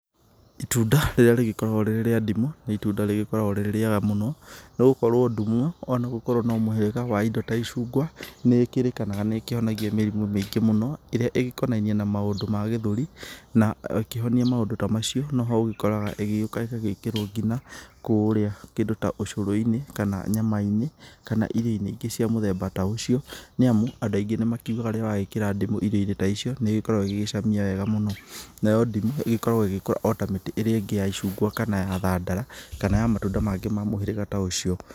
Itunda rĩrĩa rĩgĩkoragwo rĩria ndimũ nĩ itunda rĩkoragwo rĩrĩ rĩega mũno, nĩ gũkorwo ndimũ ona gũkorwo nĩ mũhĩrĩga wa indo ta icungwa nĩ ĩkĩrĩkanaga nĩ ihonagia mĩrimũ mĩingĩ mũno ĩrĩa ĩgĩkonainie na maũndũ ma gĩthũri, na ĩkĩhonia maũndũ ta macio no ho ũgĩkoraga ĩgĩũka ĩgagĩkĩrwo nginya kũrĩa kĩndũ ta ũcũrũ-inĩ, kana nyama-inĩ, kana irio-inĩ ingĩ cia mũthemba ta ũcio, nĩamu andũ aingĩ nĩ makĩũgaga rĩrĩa wegĩkĩra ndimũ irio-inĩ ta icio nĩ ĩgĩkoragwo ĩgĩcamia wega mũno, nayo ndimũ ĩgĩkoragwo ĩgĩkũra ta mĩtĩ ĩrĩa ingĩ ya icungwa, kana ya thandara, kana ya matunda mangĩ ma mũhĩrĩga ta ũcio.